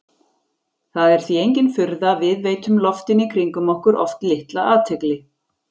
Það er því engin furða að við veitum loftinu í kringum okkur oft litla athygli.